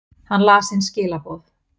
Hann las inn skilaboð.